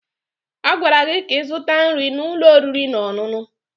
A gwara gị ka ịzụta nri n'ụlọ oriri na ọṅụṅụ!